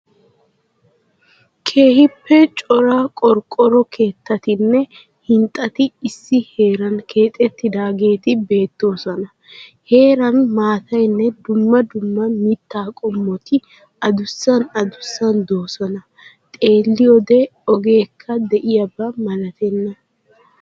Keehiippe cora qorqqoro keettaatinne hinxxati issi heeraan keexxettidaageeti beettoosona. Heeraan maataynne dumma dumma mitta qomoti adussan addussan doosona. xeelliyode ogeekka diyaaba malatenna.